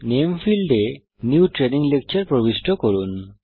name ফীল্ডে new training lecture প্রবিষ্ট করুন